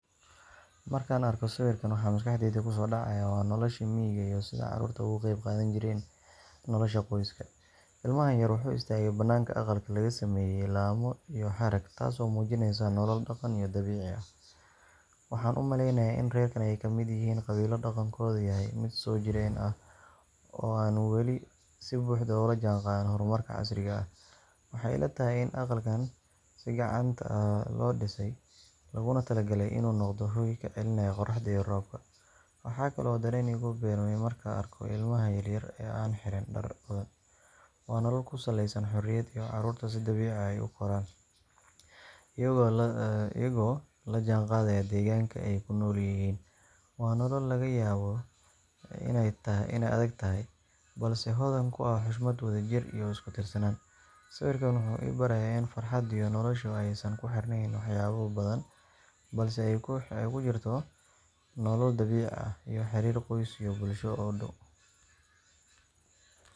Markaan arko sawirkan, waxa maskaxdayda ku soo dhacaya waa noloshii miyiga iyo sida carruurtu uga qayb qaadan jireen nolosha qoyska. Ilmahan yar wuxuu istaagay banaanka aqal laga sameeyay laamo iyo harag, taas oo muujinaysa nolol dhaqan iyo dabiici ah. Waxaan u malaynayaa in reerkan ay ka mid yihiin qabiilo dhaqankoodu yahay mid soo jireen ah oo aan weli si buuxda ula jaanqaadin horumarka casriga ah. Waxay ila tahay in aqalkaan si gacanta ah loo dhisay, looguna talagalay inuu noqdo hoy ka celinaya qorraxda iyo roobka. Waxaa kale oo dareen igu beermaya marka aan arko ilmahan yaryar ee aan xiran dhar badan – waa nolol ku saleysan xorriyad, ay carruurtu si dabiici ah u koraan, iyagoo la jaanqaadaya deegaanka ay ku nool yihiin. Waa nolol laga yaabo inay adagtahay, balse hodan ku ah xushmad, wadajir iyo isku tiirsanaan. Sawirkan wuxuu i barayaa in farxadda iyo noloshu aysan ku xirnayn waxyaabo badan, balse ay ku jirto nolol dabiici ah iyo xiriir qoys iyo bulsho oo dhow.